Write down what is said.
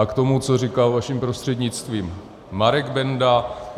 A k tomu, co říkal vaším prostřednictvím Marek Benda.